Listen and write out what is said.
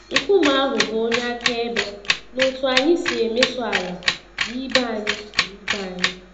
Nkume ahụ bụ onye akaebe n'otú anyị si emeso ala na ibe anyị. na ibe anyị.